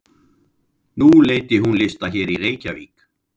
Nú leiddi hún lista hér í Reykjavík?